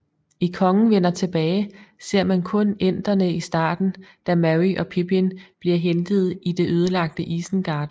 I Kongen vender tilbage ser man kun enterne i starten da Merry og Pippin bliver hentet i det ødelagte Isengard